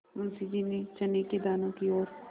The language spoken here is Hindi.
मुंशी जी ने चने के दानों की ओर